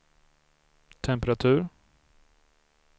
temperatur